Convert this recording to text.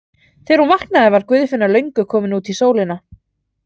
Þegar hún vaknaði var Guðfinna löngu komin út í sólina.